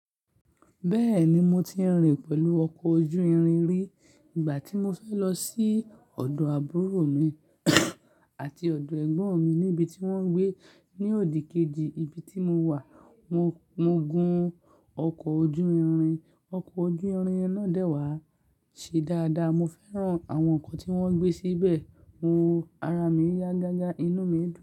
Bẹ́ẹ̀ni, mo ti ń rìn pẹ̀lú ọkọ̀ ojú-irin rí nígbà tí mo fẹ́ lọ sí ọ̀dọ̀ àbúrò mi àti ọ̀dọ̀ ẹ̀gbọ́n mi níbi tí wọ́n ń gbé ní òdìkejì ibi tí mo wà. Mo gun ọkọ̀ ojú-irin, ọkọ̀ ojú-irin náà dẹ́wàá ṣe dáadáa, mo fẹ́ràn àwọn nǹkan tí wọ́n gbé síbẹ̀, mo wo ara mi yá gágá, inú mi dùn.